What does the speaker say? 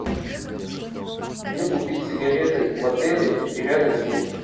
где купить сигареты в отеле и рядом с ним